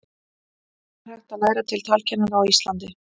ekki er hægt að læra til talkennara á íslandi